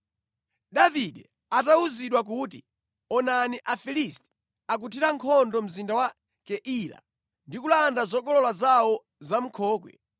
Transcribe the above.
Davide atawuzidwa kuti “Onani, Afilisti akuthira nkhondo mzinda wa Keila ndi kulanda zokolola zawo za mʼnkhokwe,”